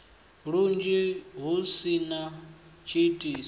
lunzhi hu si na tshiitisi